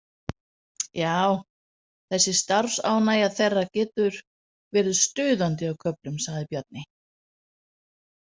Já, þessi starfsánægja þeirra getur verið stuðandi á köflum, sagði Bjarni.